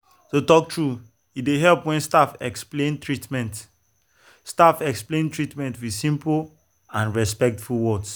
to talk true e dey help when staff explain treatment staff explain treatment with simple and respectful words.